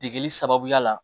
Degeli sababuya la